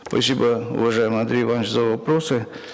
спасибо уважаемый андрей иванович за вопросы